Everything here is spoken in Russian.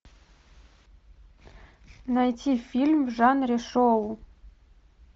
найти фильм в жанре шоу